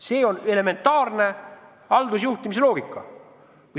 See on elementaarne haldusjuhtimise loogika.